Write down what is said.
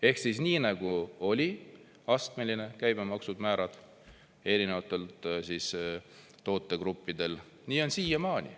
Ehk siis nii, nagu oli astmeline käibemaksumäärad erinevatel tootegruppidel, nii on siiamaani.